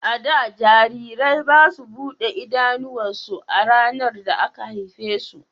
A da, jarirai ba su buɗe idanuwansu ranar da aka haife su.